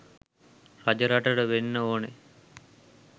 රජරටට වෙන්න ඕන